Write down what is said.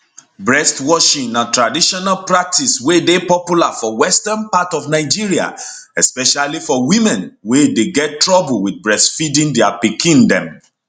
breast washing na traditional practice wey dey popular for western part of nigeria especially for women wey dey get troublr wit breastfeeding dia pikin dem